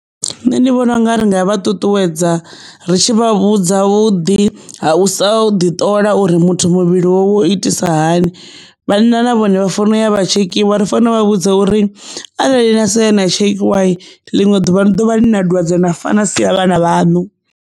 Nṋe ndi vhona u nga ri nga vha ṱuṱuwedza ri tshi vha vhudza vhuḓi ha u sa ḓi ṱola uri muthu muvhili wawe u itisa hani, vhanna na vhone vha fariwa yavha tshekhiwa ri fanela u vha vhudza uri arali na sa ya na tshekhiwa ḽiṅwe ḓuvha ni ḓovha ni na dwadze na fa na sia vhana vhaṋu.